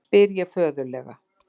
spyr ég föðurlega.